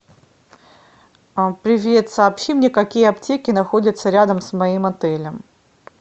привет сообщи мне какие аптеки находятся рядом с моим отелем